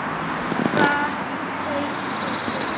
Hvað söng í Sif?